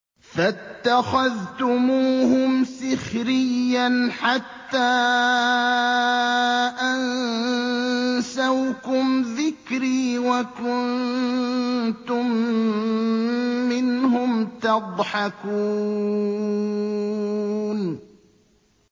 فَاتَّخَذْتُمُوهُمْ سِخْرِيًّا حَتَّىٰ أَنسَوْكُمْ ذِكْرِي وَكُنتُم مِّنْهُمْ تَضْحَكُونَ